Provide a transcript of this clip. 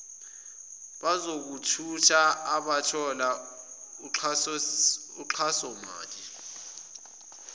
abezokuthutha abathola uxhasomali